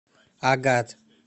агат